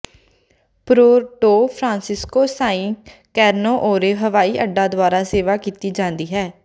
Puerto Francisco Sa Carneiro ਹਵਾਈ ਅੱਡਾ ਦੁਆਰਾ ਸੇਵਾ ਕੀਤੀ ਜਾਂਦੀ ਹੈ